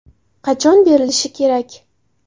Qachon berilishi kerak?